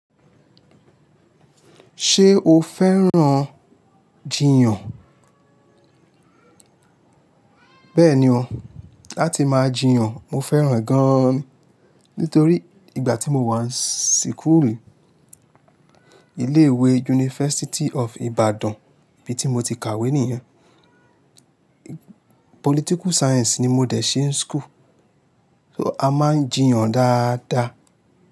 Ṣé o fẹ́ràn jiyàn? Bẹ́ẹ̀ni o, láti máa jiyàn mo fẹ́ràn re gan-an ni. Nítorí ìgbà tí mo wà síkùulu, ilé ìwé University of Ibadan bí i tí mo ti kàwé ní yan, political science ni mo dẹ̀ ṣe ni school. So a máa ń jiyàn dáadáa.